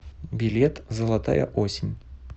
билет золотая осень